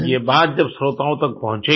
ये बात जब श्रोताओं तक पहुचेगी